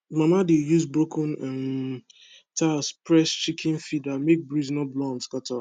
mama dey use broken um tile press chicken feeder make breeze no blow am scatter